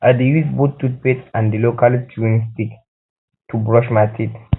i dey use both toothpaste and di local chewing stick to brush my teeth